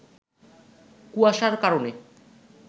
কুয়াশার কারণে